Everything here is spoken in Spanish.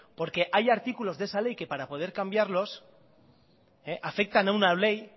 porque hay artículos de esa ley que para poder cambiarlos afectan a una ley